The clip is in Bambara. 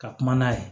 Ka kuma n'a ye